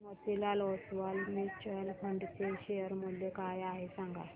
Motilal Oswal mutual fund चे share मूल्य काय आहे सांगा